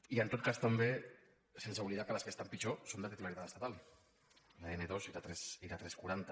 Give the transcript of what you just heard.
i en tot cas també sense oblidar que les que estan pitjor són de titularitat estatal l’n ii i la tres cents i quaranta